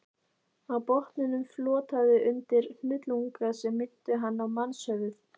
Á botninum flotaði undir hnullunga sem minntu hann á mannshöfuð.